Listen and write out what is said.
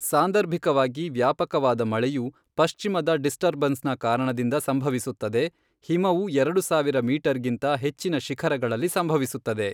ಸಾಂದರ್ಭಿಕವಾಗಿ ವ್ಯಾಪಕವಾದ ಮಳೆಯು ಪಶ್ಚಿಮದ ಡಿಸ್ಟರ್ಬನ್ಸ್ ನ ಕಾರಣದಿಂದಾಗಿ ಸಂಭವಿಸುತ್ತದೆ, ಹಿಮವು ಎರಡು ಸಾವಿರ ಮೀಟರ್ಗಿಂತ ಹೆಚ್ಚಿನ ಶಿಖರಗಳಲ್ಲಿ ಸಂಭವಿಸುತ್ತದೆ.